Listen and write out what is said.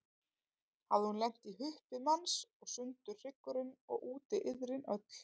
Hafði hún lent í huppi manns og sundur hryggurinn, og úti iðrin öll.